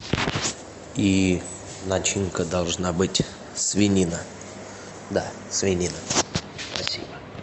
и начинка должна быть свинина да свинина спасибо